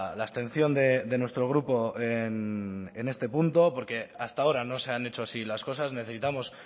la abstención de nuestro grupo en este punto porque hasta ahora no se han hecho así las cosas necesitamos